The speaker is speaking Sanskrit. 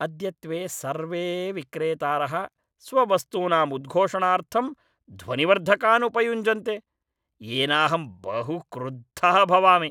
अद्यत्वे सर्वे विक्रेतारः स्ववस्तूनाम् उद्घोषणार्थं ध्वनिवर्धकान् उपयुञ्जन्ते, येनाहं बहु क्रुद्धः भवामि।